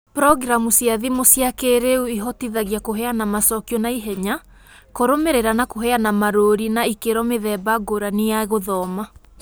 Programu cia thimu cia kĩĩrĩu ihotithagia kũheana macokio na ihenya, kũrũmĩrĩra na kũheana marũũri ma ikĩro mĩthemba ngũrani ya gũthoma